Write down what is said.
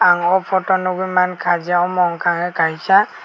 ang photo o nogoi mangka je amo wngka ke kaisa.